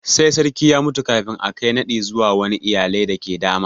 Sai sarki ya mutu kafin a Kai naɗi zuwa wani iyalai dake da dama.